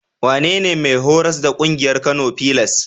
Wanene mai horas da ƙungiyar Kano filas?